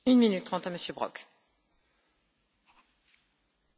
Frau Präsidentin, Herr Kommissar, Kolleginnen und Kollegen!